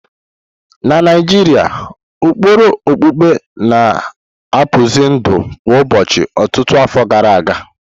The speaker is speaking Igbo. Na Naijiria, ụkpụrụ okpukpe na-akpụzi ndụ kwa ụbọchị ọtụtụ afọ gara aga.